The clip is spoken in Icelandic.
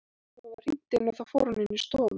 Svo var hringt inn og þá fór hún inn í stofu.